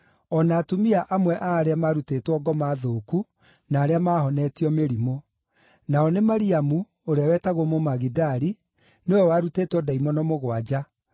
o na atumia amwe a arĩa maarutĩtwo ngoma thũku na arĩa maahonetio mĩrimũ: nao nĩ Mariamu (ũrĩa wetagwo Mũmagidali), nĩwe warutĩtwo ndaimono mũgwanja;